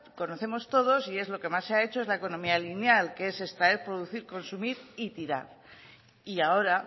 conocemos todos y es lo que más se ha hecho es la economía lineal que es extraer producir consumir y tirar y ahora